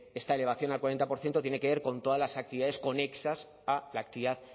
esta elevación al cuarenta por ciento tiene que ver con todas las actividades conexas a la actividad